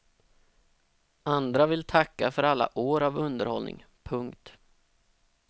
Andra vill tacka för alla år av underhållning. punkt